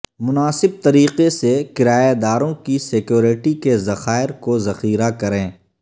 مناسب طریقے سے کرایہ داروں کی سیکورٹی کے ذخائر کو ذخیرہ کریں